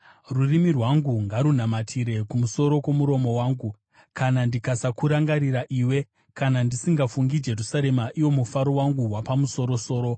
Rurimi rwangu ngarunamatire kumusoro kwomuromo wangu, kana ndikasakurangarira iwe, kana ndisingafungi Jerusarema, iwo mufaro wangu wapamusoro-soro.